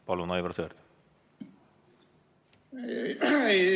Palun, Aivar Sõerd!